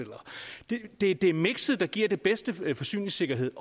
det er det er mikset der giver den bedste forsyningssikkerhed